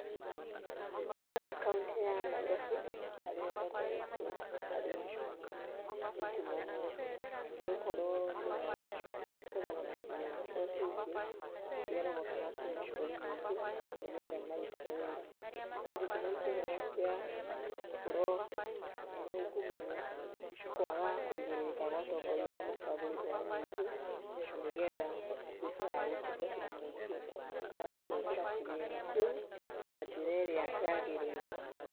Ndĩrona kauntĩ ya Nairobi tarĩ yo ĩtongoretie harĩ ungumania, nĩgũkorwo nĩyo ĩkoragwo na kĩgĩna kĩrĩa kĩingi irogotaga kuma mũingĩ nĩgetha marute wĩra. No gĩtũmi kinene kia gũkorwo ĩna ungumania nĩkwaga kũigĩrĩrĩka kwa atongoria arĩa macagũrĩtwo nĩ mũingĩ na nĩgetha matuĩke a gũtungatĩra mũingĩ makaga kũhũthĩra kĩgĩna kĩu na njĩra ĩrĩa yagĩrĩire.